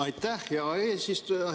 Aitäh, hea eesistuja!